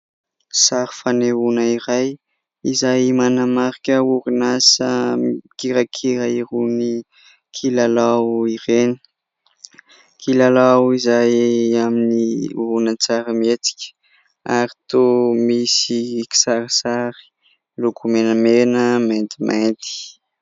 Sary fanehoana iray izay manamarika orinasa mikirakira irony kilalao ireny, kilalao izay amin'ny horonan-tsary mietsika ary toa misy kisarisary loko menamena maintimainty.